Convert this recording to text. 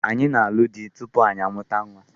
Anyị na-arụ di tupu anyị amụwa ụmụ.